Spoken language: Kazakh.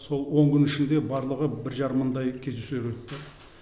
сол он күн ішінде барлығы бір жарым мыңдай кездесулар өтті